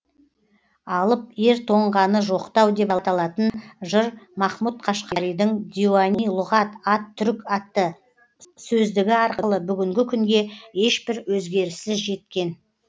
алып ер тоңғаны жоқтау деп аталатын жыр махмұт қашқаридың диуани лұғат ат түрк атты сөздігі аркылы бүгінгі күнге ешбір өзгеріссіз жеткен